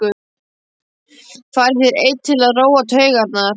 Færð þér einn til að róa taugarnar.